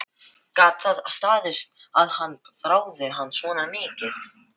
Þér veitir ekki af að vera laus við krakkana smátíma.